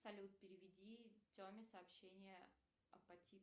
салют переведи теме сообщение о